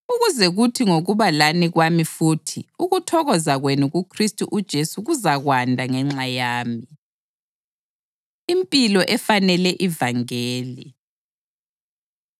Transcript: ukuze kuthi ngokuba lani kwami futhi, ukuthokoza kwenu kuKhristu uJesu kuzakwanda ngenxa yami. Impilo Efanele Ivangeli